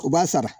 U b'a sara